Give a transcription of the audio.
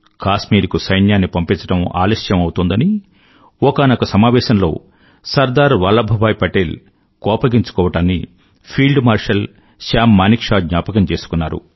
కాశ్మీరుకు సైన్యాన్ని పంపించడం ఆలస్యం అవుతోందని ఒకానొక సమావేశంలో సర్దార్ వల్లభ్ భాయ్ పటేల్ కోపగించుకోవడాన్ని ఫీల్డ్ మార్షల్ సామ్ మానేక్షా జ్ఞాపకం చేసుకున్నారు